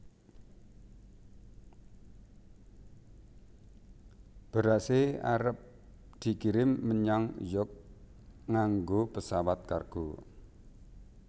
Berase arep dikirim menyang York nganggo pesawat kargo